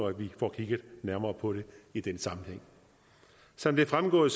at vi får kigget nærmere på dem i den sammenhæng som det er fremgået